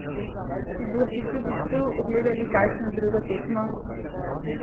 Si boste tudi tu ogledali kakšno drugo tekmo?